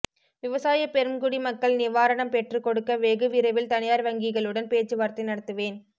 விவசாய பெரும் குடி மக்கள் நிவாரணம் பெற்றுக்கொடுக்க வெகு விரைவில் தனியார் வங்கிகளுடன் பேச்சுவார்த்தை நடத்துவேன்